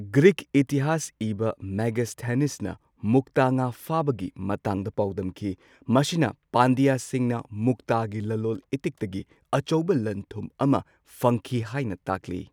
Greek ꯏꯇꯤꯍꯥꯁ ꯏꯕ ꯃꯦꯒꯁꯊꯦꯅꯤꯁꯅ ꯃꯨꯛꯇ ꯉꯥ ꯐꯥꯕꯒꯤ ꯃꯇꯥꯡꯗ ꯄꯥꯎꯗꯝꯈꯤ꯫ ꯃꯁꯤꯅ ꯄꯥꯟꯗ꯭ꯌꯁꯤꯡꯅ ꯃꯨꯛꯇꯒꯤ ꯂꯂꯣꯜ ꯏꯇꯤꯛꯇꯒꯤ ꯑꯆꯧꯕ ꯂꯟ ꯊꯨꯝ ꯑꯃ ꯐꯪꯈꯤ ꯍꯥꯏꯅ ꯇꯥꯛꯂꯤ꯫